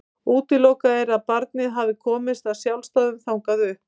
Útilokað er að barnið hafi komist af sjálfsdáðum þangað upp.